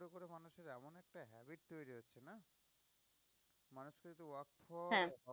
হ্যাঁ